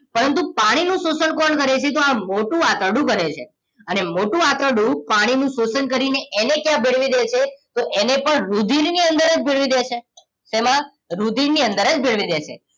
પરંતુ પાણીનું શોષણ કોણ કરે છે તો આ મોટું આંતરડું કરે છે અને મોટું આંતરડું પાણીનું શોષણ કરીને એને ક્યાં ભેળવી દેશે તો એને પણ રુધિરની અંદર જ ભેળવી દેશે શેમાં રુધિરની અંદર જ ભેળવી દેશે